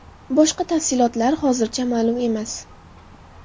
Boshqa tafsilotlar hozircha ma’lum emas.